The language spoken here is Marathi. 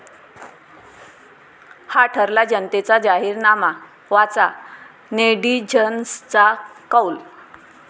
हा ठरला जनतेचा जाहीरनामा, वाचा नेटिझन्सचा कौल